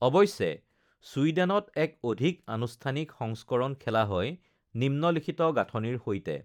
অৱশ্যে, ছুইডেনত এক অধিক আনুষ্ঠানিক সংস্কৰণ খেলা হয়, নিম্নলিখিত গাঁথনিৰ সৈতে: